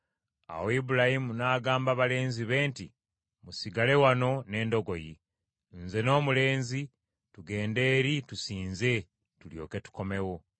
Awo Ibulayimu n’agamba balenzi be nti, “Musigale wano n’endogoyi, nze n’omulenzi tugende eri tusinze, tulyoke tukomewo.”